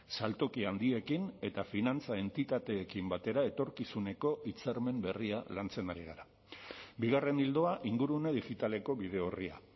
saltoki handiekin eta finantza entitateekin batera etorkizuneko hitzarmen berria lantzen ari gara bigarren ildoa ingurune digitaleko bide orria